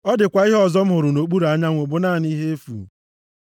Ọ dịkwa ihe ọzọ m hụrụ nʼokpuru anyanwụ bụ naanị ihe efu.